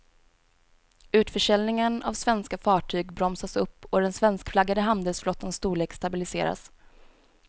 Utförsäljningen av svenska fartyg bromsas upp och den svenskflaggade handelsflottans storlek stabiliseras.